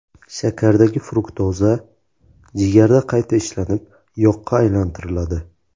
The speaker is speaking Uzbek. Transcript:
Shakardagi fruktoza jigarda qayta ishlanib, yoqqa aylantiriladi.